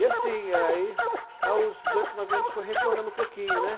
E assim, aí, aos oito, nove anos, foi retornando um pouquinho, né?